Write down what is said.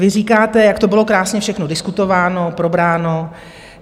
Vy říkáte, jak to bylo krásně všechno diskutováno, probráno.